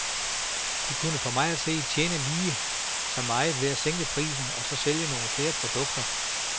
De kunne for mig at se tjene mindst lige så meget ved at sænke prisen og så sælge nogle flere produkter.